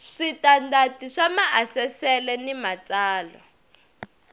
switandati swa maasesele ni matsalwa